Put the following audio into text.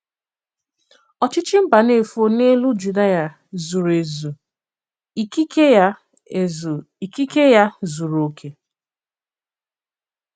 Òchìchì Mbànéfò n’èlù Jùdìà zùrù èzù; ìkikè ya, èzù; ìkikè ya, zùrù òkè.